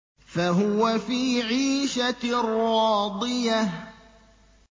فَهُوَ فِي عِيشَةٍ رَّاضِيَةٍ